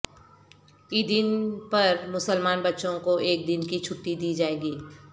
عیدین پر مسلمان بچوں کو ایک دن کی چھٹی دی جائے گی